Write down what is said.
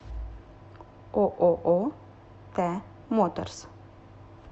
ооо т моторс